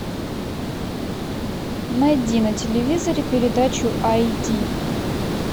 найди на телевизоре передачу айди